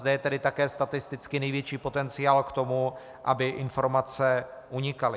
Zde je tedy také statisticky největší potenciál k tomu, aby informace unikaly.